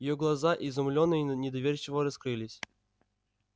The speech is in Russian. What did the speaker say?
её глаза изумлённо и недоверчиво раскрылись